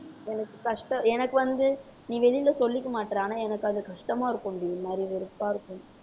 எனக்கு கஷ்ட~ எனக்கு வந்து நீ வெளியில சொல்லிக்க மாட்ற ஆனா எனக்கு அது கஷ்டமா இருக்கும்டி ஒரு மாதிரி ஒரு வெறுப்பா இருக்கும்